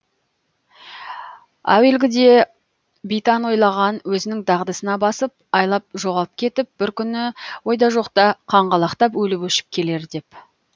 әуелгіде битан ойлаған өзінің дағдысына басып айлап жоғалып кетіп бір күні ойда жоқта қаңғалақтап өліп өшіп келер деп